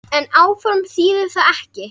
En áform þýðir það ekki.